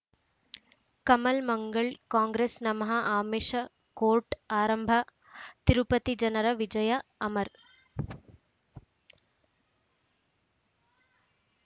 ಕಮಲ್ ಮಂಗಳ್ ಕಾಂಗ್ರೆಸ್ ನಮಃ ಆಮಿಷ್ ಕೋರ್ಟ್ ಆರಂಭ ತಿರುಪತಿ ಜನರ ವಿಜಯ ಅಮರ್